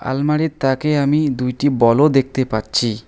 আলমারির তাকে আমি দুইটি বল -ও দেখতে পাচ্ছি।